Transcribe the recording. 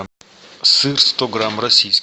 сыр сто грамм российский